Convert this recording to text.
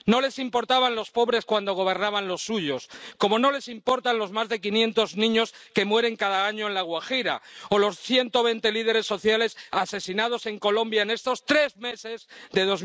No les importaban los pobres cuando gobernaban los suyos, como no les importan los más de 500 niños que mueren cada año en La Guajira o los 120 líderes sociales asesinados en Colombia en estos tres meses de